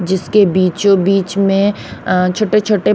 जिसके बीचों बीच में अ छोटे छोटे--